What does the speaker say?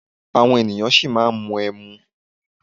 Àwọn ènìyàn ṣì máa ń mu ẹmu.